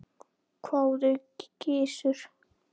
hváði Gizur.